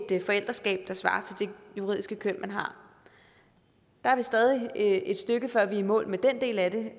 forældreskab der svarer til det juridiske køn man har der er stadig et stykke før vi er i mål med den del af det